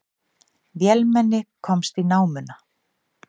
Vélmenni komst í námuna